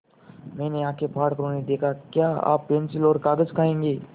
मैंने आँखें फाड़ कर उन्हें देखा क्या आप पेन्सिल और कागज़ खाएँगे